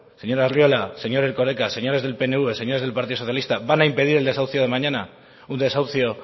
señor arriola señor erkoreka señores del pnv señores del partido socialista van a impedir el desahucio de mañana un desahucio